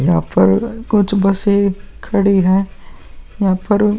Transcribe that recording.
यहाँ पर कुछ बसे खडी हैं। यहाँ पर --